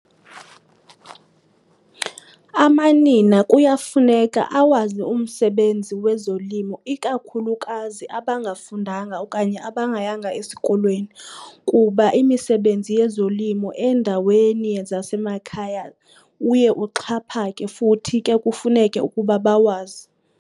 Amanina kuyafuneka awazi umsebenzi wezolimo, ikakhulukazi abangafundanga okanye abangayanga esikolweni, kuba imisebenzi yezolimo eendaweni zasemakhaya uye uxhaphake futhi ke kufuneke ukuba bawazi.